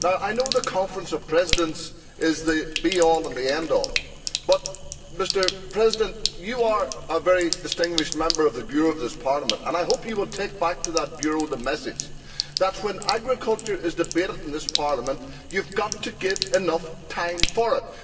I know the Conference of Presidents is the be all and the end all, but, Mr President, you are a very distinguished member of the Bureau of this Parliament and I hope you will take back to the Bureau the message that when agriculture is debated in this Parliament you have to give enough time for it.